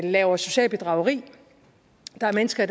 laver socialt bedrageri der er mennesker